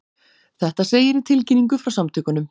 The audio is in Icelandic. Þetta segir í tilkynningu frá samtökunum